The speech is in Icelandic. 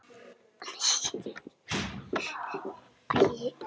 Sé hann fyrir mér.